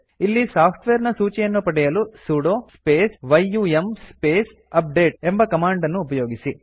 ಇಲ್ಲಿ ಸಾಫ್ಟ್ವೇರ್ ನ ಸೂಚಿಯನ್ನು ಪಡೆಯಲು sudo space yum space update ಎಂಬ ಕಮಾಂಡ್ ಅನ್ನು ಉಪಯೋಗಿಸಿ